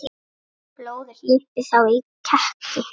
Blóðið hlypi þá í kekki.